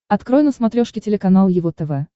открой на смотрешке телеканал его тв